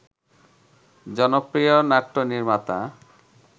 জনপ্রিয় নাট্যনির্মাতা